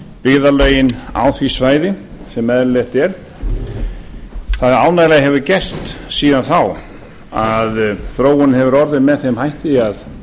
byggðarlögin á því svæði sem eðlilegt er það ánægjulega hefur gerst síðan þá að þróunin hefur orðið með þeim hætti að